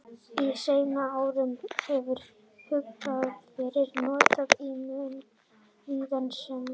Á seinni árum hefur hugtakið verið notað í mun víðara samhengi.